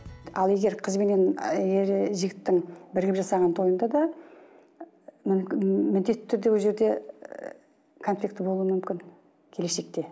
ал егер қыз бенен ііі ер жігіттің бірігіп жасаған тойында да міндетті түрде ол жерде і конфликті болуы мүмкін келешекте